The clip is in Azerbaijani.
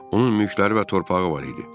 Onun mülkləri və torpağı var idi.